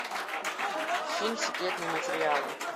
фильм секретные материалы